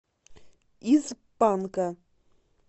из панка